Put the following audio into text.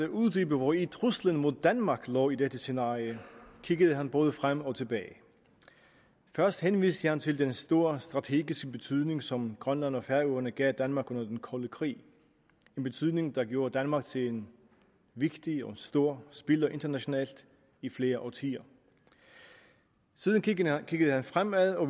uddybe hvori truslen mod danmark lå i dette scenarie kiggede han både frem og tilbage først henviste han til den store strategiske betydning som grønland og færøerne gav danmark under den kolde krig en betydning der gjorde danmark til en vigtig og stor spiller internationalt i flere årtier siden kiggede han fremad og